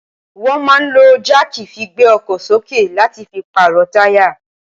wọ́n máa ń lo jáàkì fi gbé ọkọ̀ sókè láti fi pààrọ̀ táyà.